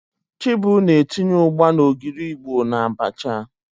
Chibu na-etinye ugba na ogiri Igbo n'abacha.